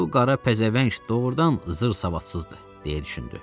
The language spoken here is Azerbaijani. Bu qara pəzəvəng doğrudan zır savadsızdır, deyə düşündü.